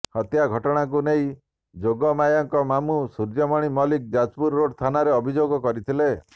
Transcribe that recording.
ହତ୍ୟାଘଟଣାକୁ ନେଇ ଯୋଗମାୟାଙ୍କ ମାମୁଁ ସୂର୍ଯ୍ୟମଣି ମଲିକ୍ ଯାଜପୁରରୋଡ ଥାନାରେ ଅଭିଯୋଗ କରିଥିଲେ